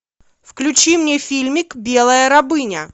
включи мне фильмик белая рабыня